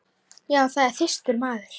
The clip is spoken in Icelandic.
Já, það er þyrstur maður.